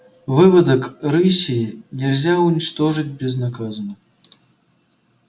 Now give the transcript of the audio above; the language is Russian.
выводок рыси нельзя уничтожить безнаказанно